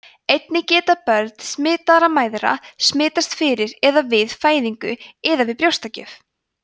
einnig geta börn smitaðra mæðra smitast fyrir eða við fæðingu eða við brjóstagjöf